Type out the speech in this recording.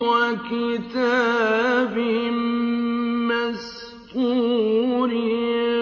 وَكِتَابٍ مَّسْطُورٍ